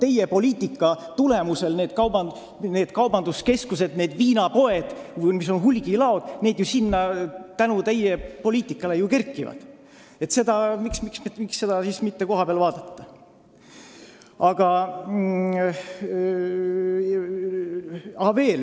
Teie poliitika tulemusel need kaubanduskeskused, need viinapoed ja hulgilaod sinna kerkivad, miks seda siis mitte kohapeal vaadata?